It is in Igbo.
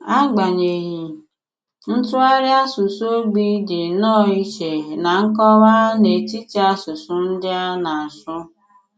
Ágbanyeghị, ntùghàrị àsùsù ogbi dị nnọọ ìchè na nkọ̀wà n’etiti àsùsù ndị à na-asù.